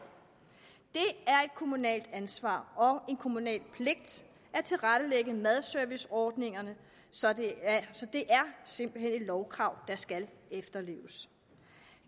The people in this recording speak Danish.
kommunalt ansvar og en kommunal pligt at tilrettelægge en madserviceordning så det er simpelt hen et lovkrav der skal efterleves